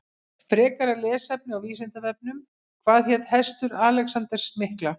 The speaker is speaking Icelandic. Frekara lesefni á Vísindavefnum Hvað hét hestur Alexanders mikla?